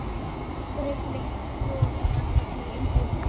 Breki Logason: En hvernig var umhorfs í borginni?